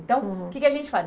Então, o que que a gente faz?